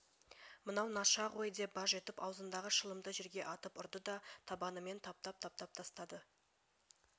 мынау наша ғой деп баж етіп аузындағы шылымды жерге атып ұрды да табанымен таптап-таптап тастады